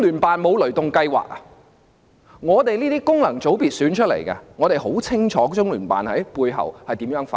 我們這些由功能界別選出的議員很清楚中聯辦如何在背後發功。